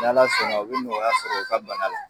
N'Ala sɔn na u bɛ nɔgɔya sɔrɔ u ka bana la.